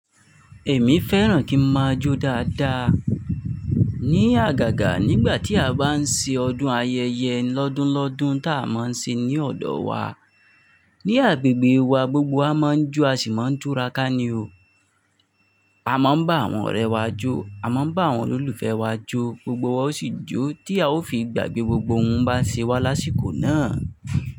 Èmi fẹ́ràn kí n máa jó dáadáa. Ni àgàgà nígbà tí a bá ń ṣe ọdún ayẹyẹ lọ́dún lọ́dún tá a máa ń ṣe ní ọ̀dọ̀ wa. Ni agbègbè wa gbogbo a máa ń jó a sì máa ń túra ká ní o. A máa ń bá àwọn ọ̀rẹ́ wa jó, a máa ń bá àwọn olólùfẹ́ wa jó, gbogbo wa sì jó tí a ó fi gbàgbé gbogbo ohun bá ń ṣẹ wá lásìkò náà.